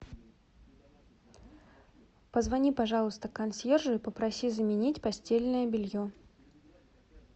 позвони пожалуйста консьержу и попроси заменить постельное белье